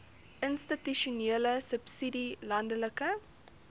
institusionele subsidie landelike